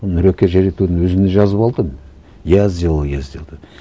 нұреке жарайды оны өзіне жазып алды я сделал я сделал деп